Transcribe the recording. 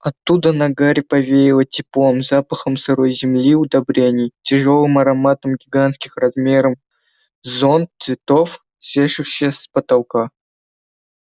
оттуда на гарри повеяло теплом запахом сырой земли удобрений тяжёлым ароматом гигантских размером с зонт цветов свешивающихся с потолка